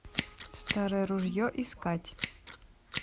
старое ружье искать